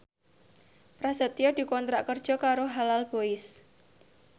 Prasetyo dikontrak kerja karo Halal Boys